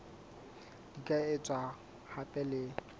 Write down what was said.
di ka etswa hape le